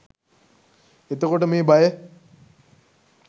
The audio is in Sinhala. එතකොට මේ බය